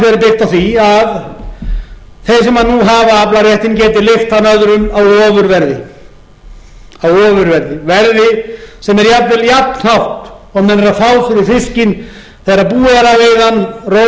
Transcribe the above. á því að þeir sem nú hafa aflaréttinn geti leigt hann öðrum á ofurverði verði sem er jafnvel jafnhátt og menn eru að fá fyrir fiskinn þegar búið er að veiða hann róa til